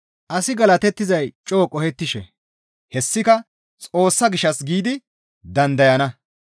Asi galatettizay coo qohettishe; hessika Xoossa gishshas giidi dandayana.